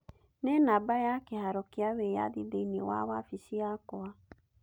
nĩ namba ya kĩharo kĩa wĩyathi thĩinĩ wa wabici yakwa.